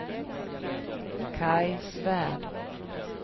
Kaj Svärd